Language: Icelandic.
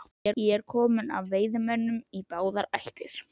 Ég er kominn af veiðimönnum í báðar ættir.